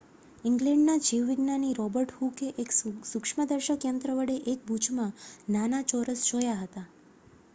ઇંગ્લેન્ડનાં જીવ વિજ્ઞાની રોબર્ટ હૂકે એક સૂક્ષ્મ દર્શક યંત્ર વડે એક બૂચમાં નાના ચોરસો જોયા હતા